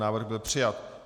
Návrh byl přijat.